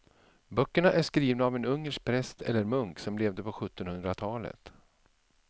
Böckerna är skrivna av en ungersk präst eller munk som levde på sjuttonhundratalet.